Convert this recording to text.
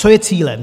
Co je cílem?